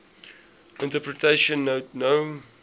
interpretation note no